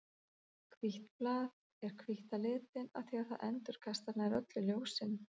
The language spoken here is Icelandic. Hvítt blað er hvítt á litinn af því að það endurkastar nær öllu ljósinu.